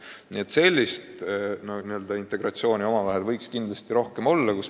Nii et sellist integratsiooni võiks kindlasti rohkem olla.